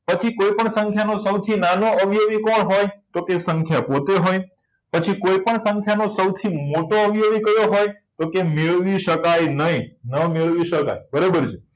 પછી કોઈપણ સંખ્યાનો સૌથી નાનો અવયવી કોણ હોય તો તે સંખ્યા પોતે હોય પછી કોઈપણ સંખ્યાઓનો સૌથી મોટો અવયવી કયો હોય તો કે મેળવી શકાય નહીં ન મેળવી શકાય બરાબર છે